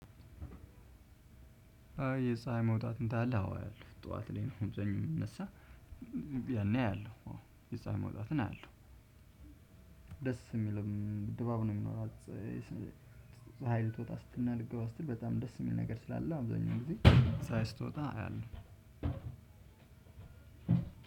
የፀሀይ መውጣትን ታያለህ? አዎ ጠዋት ላይ ነው አብዛኛዉንን የሚነሳው። ያነ አያለሁ። የፀሀይ መውጣትን አያለሁ። ደስ የሚልም ድባብ ነው የሚኖራት ፀሀይ ትወጣ ስትልና ልትገባ ስትል በጣም ደስ የሚል ነገር ስላለ አብዛኛው ጊዜ ፀሀይ ስትወጣ አያለሁ።